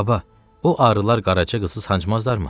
Baba, o arılar Qaraca qızı sancmazdırmı?